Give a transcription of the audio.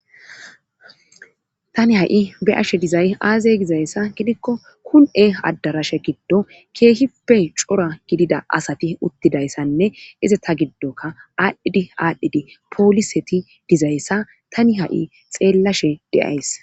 tani ha'i be'ashe dizay aazee gizayssa gidikko kun7e addarashe giddo keehipe cora gidida asati uttidayssanne izi ta giddoka aadhdhidi aadhdhidi pooliseti dizayssa tani ha'i xeellashe de'ayis